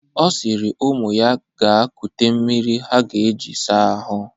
Ọ sịrị ụmụ ya ga kute mmiri ha ga-eji saa ahụ.